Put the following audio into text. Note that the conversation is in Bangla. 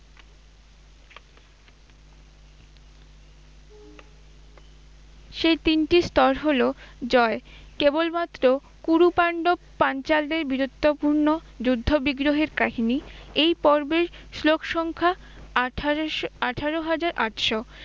সেই তিনটি স্তর হল জয়, কেবলমাত্র কুরুপান্ডব পাঞ্চালদের বীরত্বপূর্ণ যুদ্ধ বিগ্রহের কাহিনী, এই পর্বের শ্লোক সংখ্যা আঠারোশো- আঠারো হাজার আটশো।